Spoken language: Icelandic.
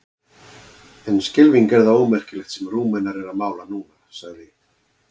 En skelfing er það ómerkilegt sem Rúmenar eru að mála núna, sagði